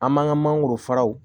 An man ka mangoro fara